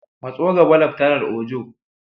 Matso gaba, Laftanar Ojo.